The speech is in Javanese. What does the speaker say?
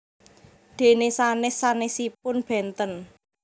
Dene sanes sanesipun benten